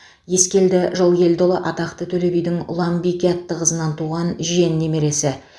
ескелді жылкелдіұлы атақты төле бидің ұланбике атты қызынан туған жиен немересі